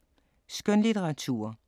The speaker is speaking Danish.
Skønlitteratur